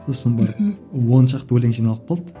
сосын бір мхм он шақты өлең жиналып қалды